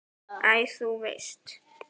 Æ, þú veist.